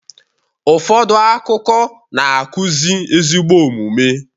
Ụfọdụ akụkọ na-akuzi ezigbo omume